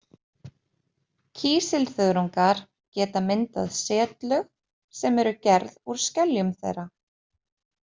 Kísilþörungar geta myndað setlög sem eru gerð úr skeljum þeirra.